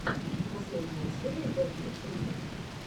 последняя серия вэд лип ридинг